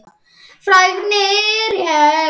Fregnir herma að.